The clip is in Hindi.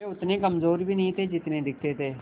वे उतने कमज़ोर भी नहीं थे जितने दिखते थे